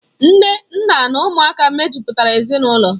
Nne, nna na ụmụaka mejupụtara ezinaụlọ.